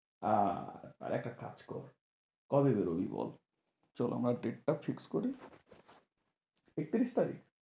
আহ তাহলে একটা কাজ কর, কবে বেরোবি বল? চল আমরা date টা fixed করি। একতিরিশ তারিখ?